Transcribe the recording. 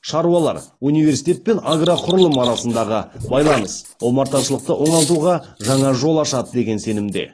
шаруалар университет пен агроқұрылым арасындағы байланыс омарташылықты оңалтуға жаңа жол ашады деген сенімде